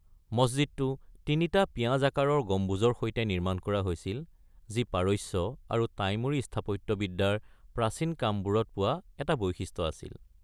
মছজিদটো তিনিটা পিঁয়াজ আকাৰৰ গম্বুজৰ সৈতে নিৰ্মাণ কৰা হৈছিল, যি পাৰস্য আৰু টাইমূৰী স্থাপত্যবিদ্যাৰ প্ৰাচীন কামবোৰত পোৱা এটা বৈশিষ্ট্য আছিল।